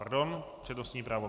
Pardon, přednostní právo.